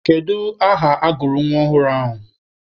Kedu aha agụrụ nwa ọhụrụ ahụ?